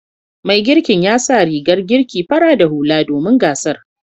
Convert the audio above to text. Mai girkin ya sa rigar girki fara da hula domin gasar.